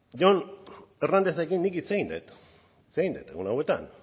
jon hernándezekin hitz egin dut hitz egin dut egun hauetan